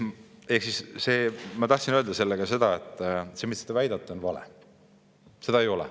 " Ehk siis ma tahtsin öelda sellega seda, et see, mida te väidate, on vale.